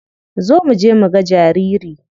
Zo muje muga jariri.